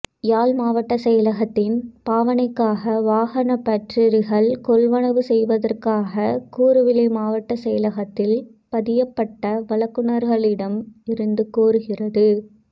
யாழ் மாவட்டச் செயலகத்தின் பாவனைக்காக வாகன பற்றரிகள் கொள்வனவு செய்வதற்காக கூறுவிலை மாவட்டச் செயலகத்தில் பதியப்பட்ட வழங்குனர்களிடம் இருந்து கோருகிறது